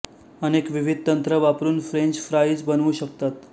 अनेक विविध तंत्र वापरून फ्रेंच फ्राईज बनवू शकतात